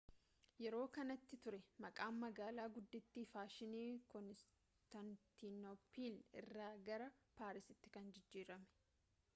yeroo kanati ture maqaan magaalaa guddittii faashinii koonistaantinooppil irraa gara paarisitti kan jijjiirame